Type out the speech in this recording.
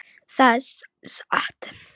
Það er satt!